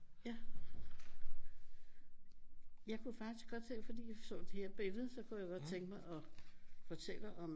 Ja jeg kunne faktisk godt fordi jeg så her bagved så kunne jeg godt tænke mig at fortælle om